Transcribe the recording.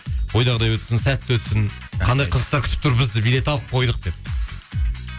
ойдағыдай өтсін сәтті өтсін қандай қызықтар күтіп тұр бізді билет алып қойдық деп